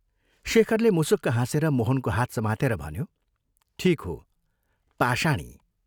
शेखरले मुसुक्क हाँसेर मोहनको हात समातेर भन्यो, "ठीक हो, पाषाणी!